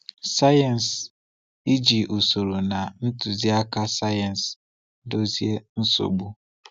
Sayensị—iji usoro na ntụziaka sayensị dozie nsogbu.